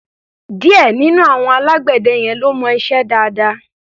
Díẹ̀ nínú àwọn alágbẹ̀dẹ yẹn ló mọ iṣẹ́ dáadáa.